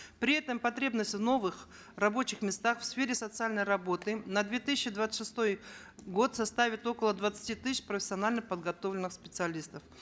при этом потребность в новых рабочих местах в сфере социальной работы на две тысячи двадцать шестой год составит около двадцати тысяч профессионально подготовленных специалистов